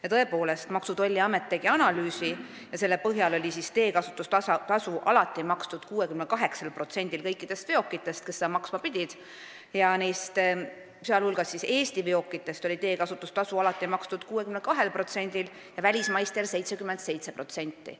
Ja tõepoolest, Maksu- ja Tolliamet tegi analüüsi ja selle põhjal oli teekasutustasu alati makstud 68%-l kõikidest veokitest, kes seda maksma pidid, sh Eesti veokitest oli teekasutustasu alati maksnud 62% ja välismaistest 77%.